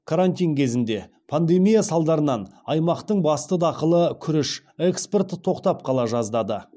карантин кезінде пандемия салдарынан аймақтың басты дақылы күріш экспорты тоқтап қала жаздады